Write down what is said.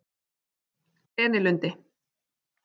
Grenilundi